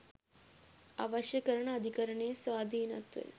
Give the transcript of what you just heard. අවශ්‍ය කරන අධිකරණයේ ස්වාධීනත්වය